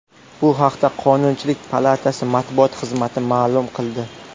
Bu haqda Qonunchilik palatasi matbuot xizmati ma’lum qildi .